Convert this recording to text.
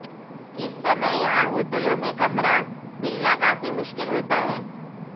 इस समय यहां होटलों में कमरा मिलना काफी मुश्किल होता है